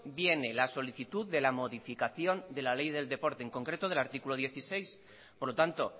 viene la solicitud de la modificación de la ley del deporte en concreto del artículo dieciséis por lo tanto